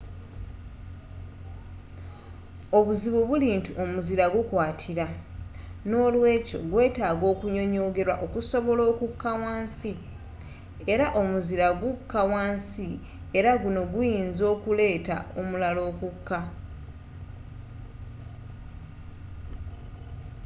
obuzibu buli nti omuzira gukwatira n'olwekyo gwetaagisa okunyonyogerwa okusobola okukka wansi era omuzira gukka wansi era guno guyinza okuleetawo omulala okukka